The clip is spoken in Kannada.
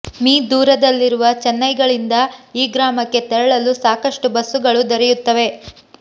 ಮೀ ದೂರದಲ್ಲಿರುವ ಚೆನ್ನೈಗಳಿಂದ ಈ ಗ್ರಾಮಕ್ಕೆ ತೆರಳಲು ಸಾಕಷ್ಟು ಬಸ್ಸುಗಳು ದೊರೆಯುತ್ತವೆ